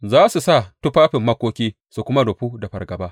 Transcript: Za su sa tufafin makoki su kuma rufu da fargaba.